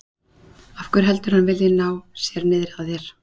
Af hverju heldurðu að hann vilji ná sér niðri á þér?